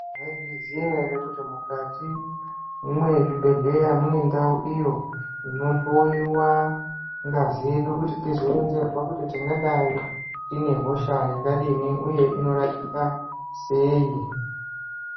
Maizviziva here kuti mukati mwezvibhedhleya mune ndawu iyo inohloyiwa ngazi yedu kuti tizoona teyizwa kuti tingadai tine hosha yakadini uye inorapika sei.